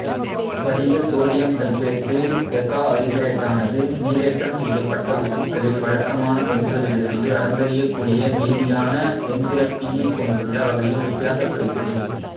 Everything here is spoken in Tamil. படிக சோடியம் சல்பேட்டு டெகாஐதரேட்டானது நீரேற்றம் செய்யப்பட்ட உப்புக்களில் வழக்கமான பண்புகளிலிருந்து அளந்தறியக்கூடிய மீதியான வெந்திரப்பியைக் கொண்டுள்ள வகையில் வித்தியாசப்படுகிறது